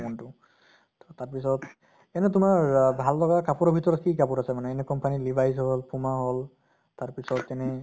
মন তো তʼ তাৰ পিছত এনে তোমাৰ অহ ভাল লগা কাপোৰৰ ভিতৰত কি কাপোৰ আছে মানে any company levis হʼল, puma হʼল তাৰ পিছত তেনে